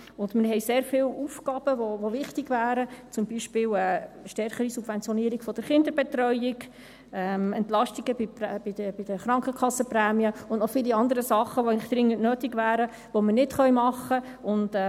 Und wir haben sehr viele Aufgaben, die wichtig wären, zum Beispiel eine stärkere Subventionierung der Kinderbetreuung, Entlastungen bei den Krankenkassenprämien und auch viele andere Sachen, die eigentlich dringend wären, die wir nicht machen können.